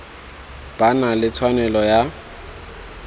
ba na le tshwanelo ya